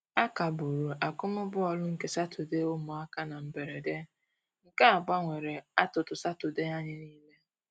A kagburu akụm bọọlụ nke sọka ụmụaka na mberede, nke a gbanwere atụtụ Satọde anyị nile